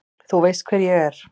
Þú veist hver ég er.